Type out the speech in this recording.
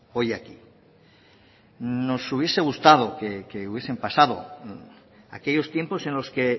hoy aquí nos hubiese gustado que hubiesen pasado aquellos tiempos en los que